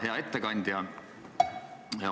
Hea ettekandja!